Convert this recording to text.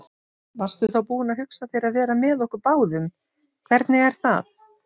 Varstu þá búin að hugsa þér að vera með okkur báðum, hvernig er það?